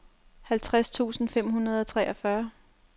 halvtreds tusind fem hundrede og treogfyrre